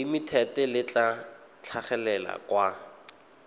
limited le tla tlhagelela kwa